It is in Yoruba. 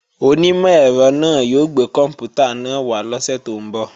Onímọ̀ ẹ̀rọ náà yóò gbé kòǹpútà náà wá lọ́sè tó ń bọ̀